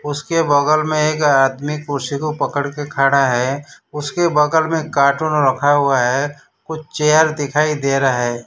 उसके बगल में एक आदमी कुर्सी को पकड़ कर खड़ा है। उसके बगल में कार्टून रखा हुआ है। कुछ चेयर दिखाई दे रहा है।